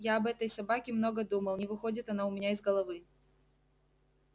я об этой собаке много думал не выходит она у меня из головы